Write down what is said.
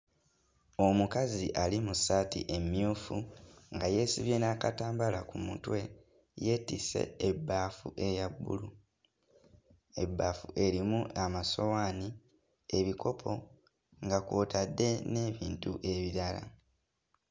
Omukazi ali mu ssaati emmyufu nga yeesibye n'akatambaala ku mutwe yeetisse ebbaafu eya bbulu, ebbaafu erimu amasowaani ebikopo, nga kw'otadde n'ebintu ebirala.